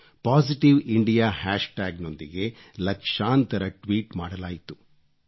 positive India hashtag tag ನೊಂದಿಗೆ ಲಕ್ಷಾಂತರ tweet ಮಾಡಲಾಯಿತು